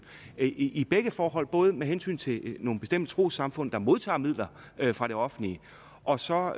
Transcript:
i begge forhold altså både med hensyn til nogle bestemte trossamfund der modtager midler fra det offentlige og så